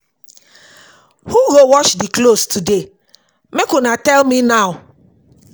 Who go wash di clothes today? make make una tell me now.